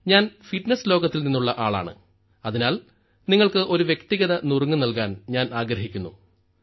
ഞാൻ ഫിറ്റ്നസ് ലോകത്തിൽ നിന്നുള്ള ആളാണ് അതിനാൽ നിങ്ങൾക്ക് ഒരു വ്യക്തിഗത നുറുങ്ങ് നൽകാൻ ഞാൻ ആഗ്രഹിക്കുന്നു